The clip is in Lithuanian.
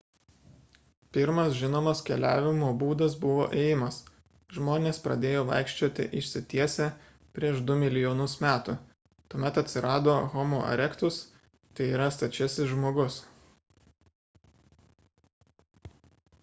pirmas žinomas keliavimo būdas buvo ėjimas. žmonės pradėjo vaikščioti išsitiesę prieš du milijonus metų – tuomet atsirado homo erectus tai yra stačiasis žmogus